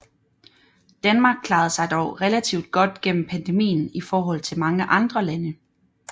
Danmark klarede sig dog relativt godt gennem pandemien i forhold til mange andre lande